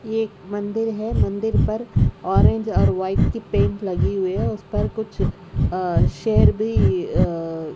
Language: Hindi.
ये एक मंदिर है मंदिर पर ऑरेंज और वाइट की पेंट लगी हुई है उस पर कुछ अ शेर भी अअअ--